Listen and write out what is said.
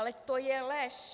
Ale to je lež.